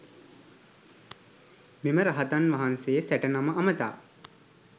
මෙම රහතන් වහන්සේ සැට නම අමතා